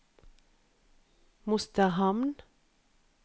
Mosterhamn